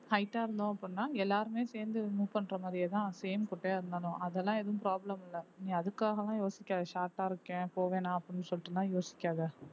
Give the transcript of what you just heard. height ஆ இருந்தோம் அப்படின்னா எல்லாருமே சேர்ந்து move பண்ற மாதிரியேதான் same குட்டையா இருந்தாலும் அதெல்லாம் எதுவும் problem இல்லை நீ அதுக்காக எல்லாம் யோசிக்காத short ஆ இருக்கேன் போவேனாம் அப்படி சொல்லிடு யோசிக்காத